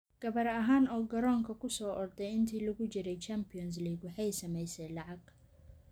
Gabar ahaan oo garoonka ku soo orday intii lagu jiray Champions League waxay samaysay lacag.